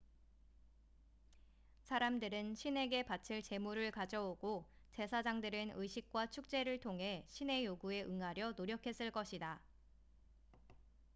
사람들은 신에게 바칠 제물을 가져오고 제사장들은 의식과 축제를 통해 신의 요구에 응하려 노력했을 것이다